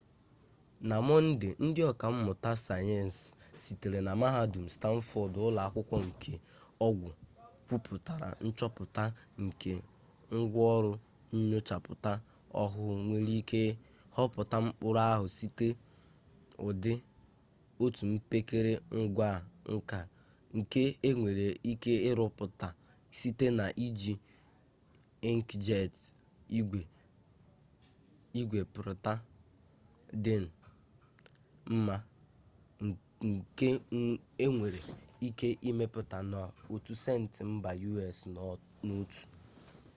na monde ndi oka mmuta sayensi sitere na mahadum stanford ulo-akwukwo nke ogwu kwuputara nchoputa nke ngwa-oru nyochaputa ohuu nwere it hoputa mkpuru-ahu site udi otu mpekere ngwa nka nke enwere ike iruputa site na iji inkjeti igwe-prita din mma nke enwere-ike imeputa na otu senti mba us n'otu